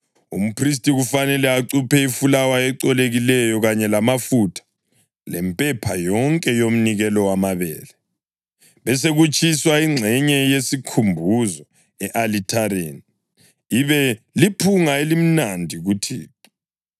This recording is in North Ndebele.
Umphristi kufanele acuphe ifulawa elicolekileyo kanye lamafutha, lempepha yonke yomnikelo wamabele, besekutshiswa ingxenye yesikhumbuzo e-alithareni, ibe liphunga elimnandi kuThixo.